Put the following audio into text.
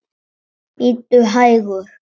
Bíddu hægur.